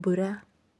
mbura!